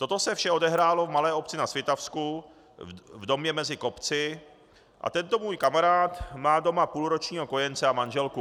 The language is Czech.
Toto vše se odehrálo v malé obci na Svitavsku v domě mezi kopci a tento můj kamarád má doma půlročního kojence a manželku.